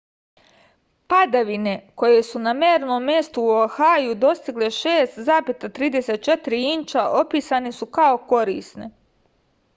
padavine koje su na mernom mestu u oahuu dostigle 6,34 inča opisane su kao korisne